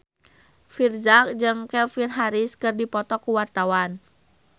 Virzha jeung Calvin Harris keur dipoto ku wartawan